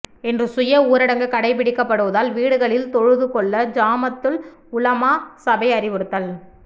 இன்று சுய ஊரடங்கு கடைபிடிக்கப்படுவதால் வீடுகளில் தொழுதுகொள்ள ஜமாத்துல் உலமா சபை அறிவுறுத்தல்